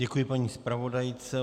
Děkuji paní zpravodajce.